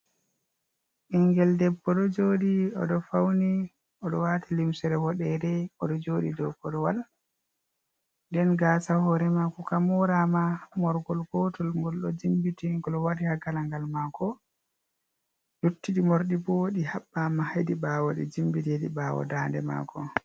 Ɓingel debbo ɗo joɗi oɗo fauni, oɗo wati limsere woɗere oɗo joɗi dou korwal, den gasa hore mako ka morama morgol gotol gol ɗo jimbiti gol wari ha galangal mako, luttiɗi morɗi bo ɗi haɓɓama hedi ɓawo nde jimbiteɗi ɓawo dande mako.